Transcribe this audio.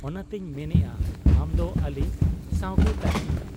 ᱚᱱᱟᱛᱮᱧ ᱢᱮᱱᱮᱜ ᱟ ᱟᱢᱫᱚ ᱟᱹᱞᱤᱧ ᱥᱟᱶᱜᱮ ᱛᱟᱦᱮᱸᱱ ᱢᱮ ᱾